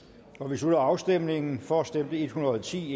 slutter afstemningen for stemte en hundrede og ti